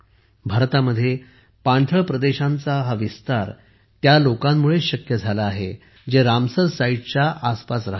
भारतात पाणथळ प्रदेशांचा हा विस्तार त्या लोकांमुळेच शक्य झाला आहे जे रामसर साइट्सच्या आसपास राहतात